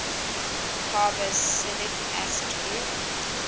carboxylic acid group